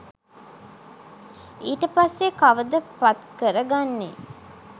ඊට පස්සේ කවද පත්කර ගන්නේ?